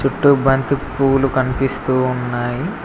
చుట్టూ బంతి పువ్వులు కనిపిస్తూ ఉన్నాయి.